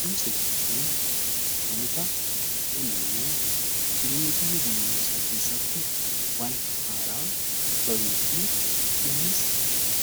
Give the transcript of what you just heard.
Barumsa jechuun wanta dhalli namaa jireenya guyyuu guyyuu isaa keessatti waan haaraa baruu fi innis